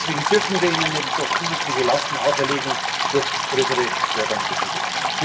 Deswegen dürfen wir ihnen nicht noch zusätzliche Lasten auferlegen durch größere Förderunterschiede.